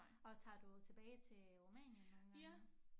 Og tager du tilbage til Rumænien nogle gange